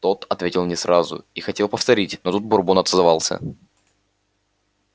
тот ответил не сразу артем подумал даже что он не расслышал вопроса и хотел повторить но тут бурбон отозвался